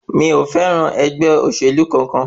Mi ò fẹ́ràn ẹgbẹ́ olóṣèlú kankan.